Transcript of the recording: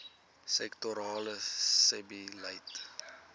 sektorale sebbeleid